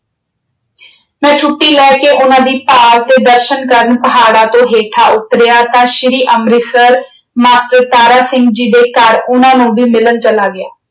ਮੈਂ ਛੁੱਟੀ ਲੈ ਕੇ ਉਨ੍ਹਾਂ ਦੀ ਭਾਲ ਤੇ ਦਰਸ਼ਨ ਕਰਨ ਪਹਾੜਾਂ ਤੋਂ ਹੇਠਾਂ ਉੱਤਰਿਆ ਤਾਂ ਸ਼੍ਰੀ ਅੰਮ੍ਰਿਤਸਰ master ਤਾਰਾ ਸਿੰਘ ਜੀ ਦੇ ਘਰ ਉਨ੍ਹਾਂ ਨੂੰ ਵੀ ਮਿਲਣ ਚਲਾ ਗਿਆ।